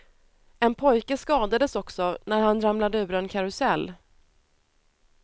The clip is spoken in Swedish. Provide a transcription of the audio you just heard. En pojke skadades också när han ramlade ur en karusell.